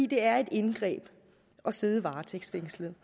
det er et indgreb at sidde varetægtsfængslet